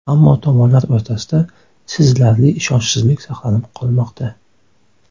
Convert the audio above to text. Ammo tomonlar o‘rtasida sezilarli ishonchsizlik saqlanib qolmoqda.